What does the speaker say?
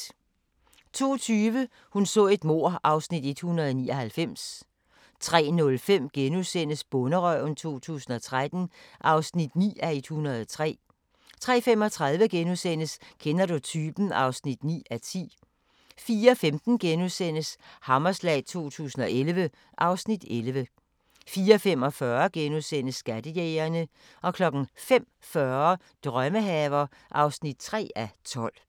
02:20: Hun så et mord (Afs. 199) 03:05: Bonderøven 2013 (9:103)* 03:35: Kender du typen? (9:10)* 04:15: Hammerslag 2011 (Afs. 11)* 04:45: Skattejægerne * 05:40: Drømmehaver (3:12)